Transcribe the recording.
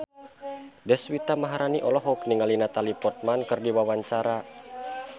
Deswita Maharani olohok ningali Natalie Portman keur diwawancara